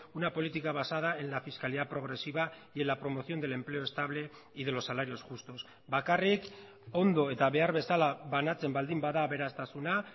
una política basada en la fiscalidad progresiva y en la promoción del empleo estable y de los salarios justos bakarrik ondo eta behar bezala banatzen baldin bada aberastasuna